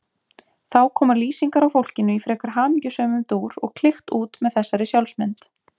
Þá koma lýsingar á fólkinu í frekar hamingjusömum dúr og klykkt út með þessari sjálfsmynd